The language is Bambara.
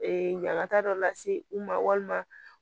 ɲagata dɔ lase u ma walima